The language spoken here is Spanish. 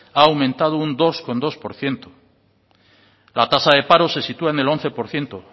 ha aumentado un dos coma dos por ciento la tasa de paro se sitúa en el once por ciento